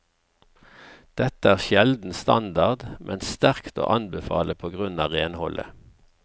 Dette er sjelden standard, men sterkt å anbefale på grunn av renholdet.